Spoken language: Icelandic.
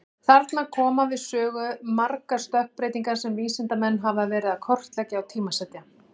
Þarna koma við sögu margar stökkbreytingar sem vísindamenn hafa verið að kortleggja og tímasetja.